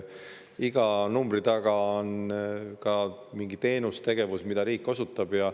Iga numbri taga on mingi tegevus, teenus, mida riik osutab.